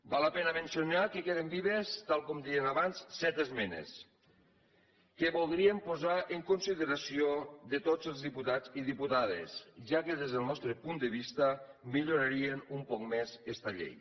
val la pena mencionar que queden vives tal i com dèiem abans set esmenes que voldríem posar en consideració de tots els diputats i diputades ja que des del nostre punt de vista millorarien un poc més esta llei